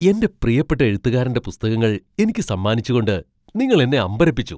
എൻ്റെ പ്രിയപ്പെട്ട എഴുത്തുകാരന്റെ പുസ്തകങ്ങൾ എനിക്ക് സമ്മാനിച്ചുകൊണ്ട് നിങ്ങൾ എന്നെ അമ്പരപ്പിച്ചു !